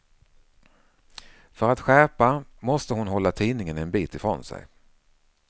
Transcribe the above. För att skärpa måste hon hålla tidningen en bit ifrån sig.